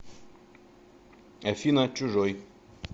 афина чужой